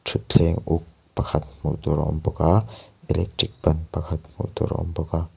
thutthleng uk pakhat hmuh tur a awm bawk aaa electric ban pakhat hmuh tur a awm bawk a.